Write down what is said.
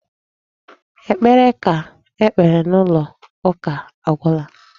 Ekpere ha kpere n'ụlọ ụka agwụla.